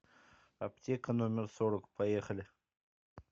аптека номер сорок поехали